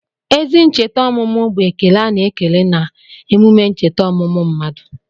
Ezi ncheta ọmụmụ bụ ekele a na-ekele na emume ncheta ọmụmụ mmadụ.